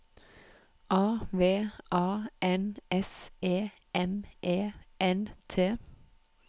A V A N S E M E N T